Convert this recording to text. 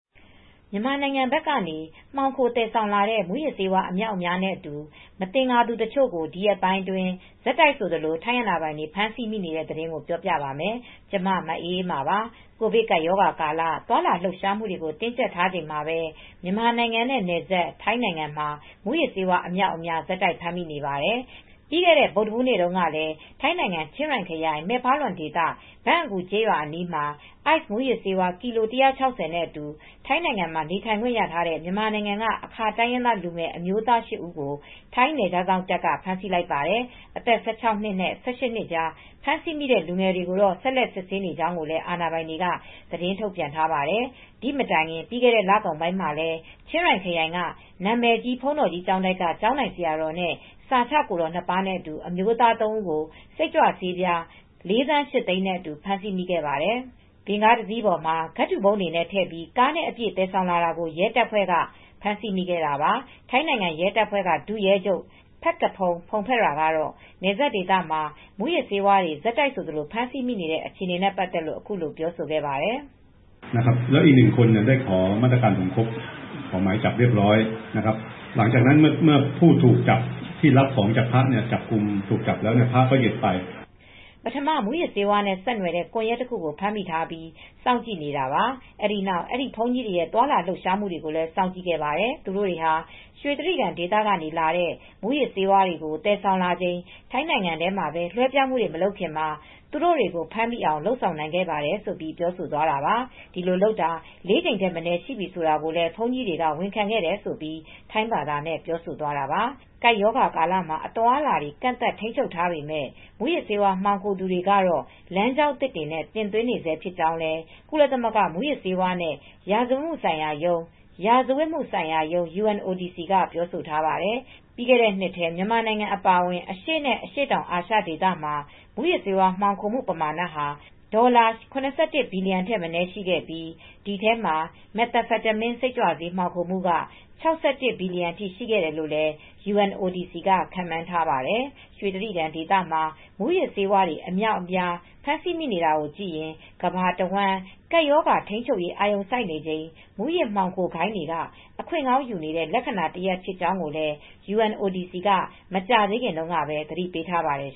မြန်မာနိုင်ငံဘက်ကနေ မှောင်ခိုသယ်ဆောင်လာတဲ့ မူးယစ်ဆေးဝါး အမြောက်အများနဲ့အတူ မသင်္ကာသူတချို့ကို ဒီရက်ပိုင်းအတွင်း ဆက်တိုက်ဆိုသလို ထိုင်းအာဏာပိုင်တွေ ဖမ်းဆီးမိနေတဲ့ သတင်းကို ဗွီအိုအေမြန်မာပိုင်း သတင်းထောက် မအေးအေးမာက ပြောပြပါမယ်။ ကိုဗစ်ကပ်ရောဂါကာလ သွားလာလှုပ်ရှားမှုတွေကို တင်းကြပ်ထားချိန်မှာပဲ မြန်မာနိုင်ငံနဲ့နယ်စပ် ထိုင်းနိုင်ငံမှာ မူးယစ်ဆေးဝါး အမြောက်အများ ဆက်တိုက် ဖမ်းဆီးမိနေပါတယ်။ ပြီးခဲ့တဲ့ ဗုဒ္ဓဟူးနေ့မှာတုန်းကလည်း ထိုင်းနိုင်ငံ ချင်းရိုင်ခရိုင် မဲဖါလွင်ဒေသ ဘန့်အကူ ကျေးရွာအနီးမှာ Ice မူးယစ်ဆေး ကီလို ၁၆၀ နဲ့အတူ ထိုင်းနိုင်ငံမှာ နေထိုင်ခွင့်ရထားတဲ့ မြန်မာနိုင်ငံက အာခါတိုင်းရင်းသား လူငယ်အမျိုးသား ၈ ဦးကို ထိုင်းနယ်ခြားစောင့်တပ်က ဖမ်းဆီးလိုက်ပါတယ်။ အသက် ၁၆ နှစ်နဲ့၁၈ နှစ်ကြား ဖမ်းဆီးမိတဲ့ လူငယ်တွေကိုတော့ ဆက်လက် စစ်ဆေးနေကြောင်းလည်း အာဏာပိုင်တွေက သတင်းထုတ်ပြန်ထားပါတယ်။ ဒီမတိုင်ခင် ပြီးခဲ့တဲ့လကုန်ပိုင်းမှာလည်း ချင်ရိုင်ခရိုင်က နာမည်ကြီး ဘုန်းတော်ကြီးကျောင်းတိုက်တခုက ကျောင်းထိုင်ဆရာတော်နဲ့ စာချကိုယ်တော် ၂ ပါးနဲ့အတူ အမျိုးသား ၃ ဦးကို စိတ်ကြွဆေးပြား ၄,၈၀၀,၀၀၀ နဲ့အတူ ဖမ်းဆီးမိခဲ့ပါတယ်။ ဗင်ကားတစင်းပေါ်မှာ ကဒ်ထူပုံးတွေနဲ့ ထည့်ပြီး ကားနဲ့အပြည့် သယ်ဆောင်လာတာကို ထိုင်းရဲတပ်ဖွဲ့က ဖမ်းဆီးမိခဲ့တာပါ။ ထိုင်းနိုင်ငံ ရဲတပ်ဖွဲ့က ဒုရဲချုပ် Phakphong Phongphetra ကတော့ နယ်စပ်ဒေသမှာ မူးယစ်ဆေးဝါးတွေ ဆက်တိုက်ဆိုသလို ဖမ်းဆီးမိနေတဲ့ အခြေအနေနဲ့ ပတ်သက်လို့ အခုလို ပြောဆိုခဲ့ပါတယ်။ "ပထမ မူးယစ်ဆေးဝါးနဲ့ ဆက်နွယ်တဲ့ ကွန်ယက်တခုကို ဖမ်းမိထားပြီး စောင့်ကြည့်နေတာ အဲဒီနောက်အဲဒီ ဘုန်းကြီးတွေရဲ့ သွားလာလှုပ်ရှားမှုတွေကို စောင့်ကြည့်ခဲ့ပါတယ်။ သူတို့တွေဟာရွှေတြိဂံဒေသကနေ လာတဲ့ မူးယစ်ဆေးဝါးတွေကို သယ်ဆောင်လာချိန် ထိုင်းနိုင်ငံထဲမှာ လွဲပြောင်းမှုတွေ မလုပ်ခင်မှာ သူတို့တွေကို ဖမ်းမိအောင်လုပ်ဆောင်နိုင်ခဲ့တယ်ဆိုပြီးပြောဆိုသွားတာပါ။ ဒီလိုလုပ်တာ ၄ ကြိမ်မနည်းရှိပြီဆိုတာကိုလည်း ဘုန်းကြီးတွေက ဝန်ခံခဲ့တယ်။" ဆိုပြီး ထိုင်းဘာသာနဲ့ ပြောဆိုသွားတာပါ။ ကပ်ရောဂါကာလမှာ အသွားအလာတွေ ကန့်သတ်ထိန်းချုပ်ထားပေမဲ့ မူးယစ်ဆေးဝါး မှောင်ခိုသူတွေကတော့ လမ်းကြောင်းသစ်တွေနဲ့ တင်သွင်းနေဆဲဖြစ်ကြောင်းလည်း ကုလသမဂ္ဂ မူးယစ်ဆေးဝါးနဲ့ ရာဇဝတ်မှုဆိုင်ရာရုံး (UNODC) က ပြောဆိုထားပါတယ်။ ပြီးခဲ့တဲ့နှစ်ထဲ မြန်မာနိုင်ငံအပါအဝင် အရှေ့နဲ့ အရှေ့တောင်အာရှ ဒေသမှာ မူးယစ်ဆေးဝါး မှောင်ခိုမှုပမာဏဟာ ဒေါ်လာ ၇၁ ဘီလီယံထက်မနည်း ရှိခဲ့ပြီး၊ ဒီအထဲမှာ Methamphetamine စိတ်ကြွဆေး မှောင်ခိုမှုက ၆၁ ဘီလီယံအထိ ရှိတယ်လို့လည်း UNODC က ခန့်မှန်းထားပါတယ်။ ရွှေတြိဂံဒေသမှာ မူးယစ်ဆေးတွေ အများအပြား ဖမ်းဆီးမိနေတာကိုကြည့်ရင် ကမ္ဘာတဝန်း ကပ်ရောဂါထိန်းချုပ်ရေး အာရုံစိုက်နေချိန် မူးယစ်ဆေးမှောင်ခိုဂိုဏ်းတွေက အခွင့်ကောင်းယူနေတဲ့ လက္ခဏာတရပ် ဖြစ်ကြောင်းလည်း UNODC က မကြာသေးခင်တုန်းကပဲ သတိပေးထားပါတယ်